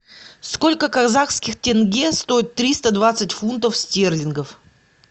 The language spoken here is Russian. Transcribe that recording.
сколько казахских тенге стоит триста двадцать фунтов стерлингов